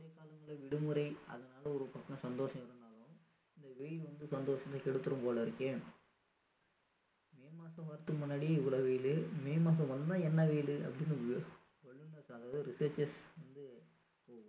இந்த விடுமுறை அதனால ஒரு பக்கம் சந்தோஷம் இருந்தாலும் இந்த வெயில் வந்து சந்தோஷத்தையே கெடுத்திடும் போல இருக்கே may மாதம் வர்றத்கு முன்னாடியே இவ்ளோ வெயிலு may மாதம் வந்தா என்ன வெயிலு அப்படின்னு வல்லுனர்கள் researchers வந்து